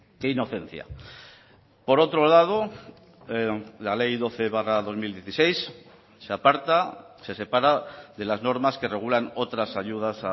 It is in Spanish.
de inocencia por otro lado la ley doce barra dos mil dieciséis se aparta se separa de las normas que regulan otras ayudas